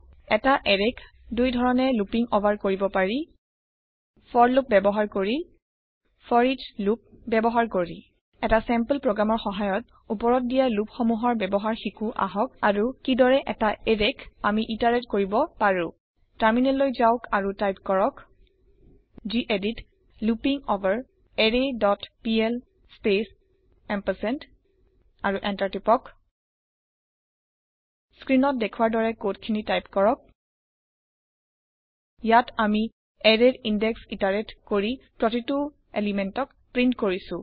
এটা এৰেয়ত দুই ধৰণে লুপিং অভাৰ কৰিব পাৰি ফৰ লুপ ব্যৱহাৰ কৰি ফৰিচ লুপ ব্যৱহাৰ কৰি এটা চেম্পল প্ৰগ্ৰেমৰ সহায়ত ওপৰত দিয়া লোপ সমূহৰ ব্যৱহাৰ শিকো আহক আৰু কিদৰে এটা এৰেক আমি ইটাৰেত কৰিব পাৰো টাৰমিনেললৈ যাওক আৰু টাইপ কৰক gedit looping for array dot PL space ampersand আৰু এন্টাৰ টিপক স্ক্ৰীণত দেখোৱাৰ দৰে কদ খিনি টাইপ কৰক ইয়াত আমি এৰেয়ৰ ইনদেক্স ইটাৰেত কৰি প্ৰতিটো পদাৰ্থক প্ৰীন্ট কৰিছো